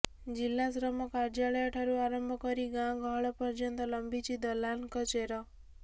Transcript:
ଜିଲ୍ଲା ଶ୍ରମ କାର୍ଯ୍ୟାଳୟ ଠାରୁ ଆରମ୍ଭ କରି ଗାଁ ଗହଳ ପର୍ଯ୍ୟନ୍ତ ଲମ୍ଭିଛି ଦଲାଲଙ୍କ ଚେର